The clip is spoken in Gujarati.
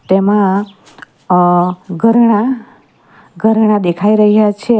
એમાં અહ ઘરેણા ઘરેણા દેખાઈ રહ્યા છે.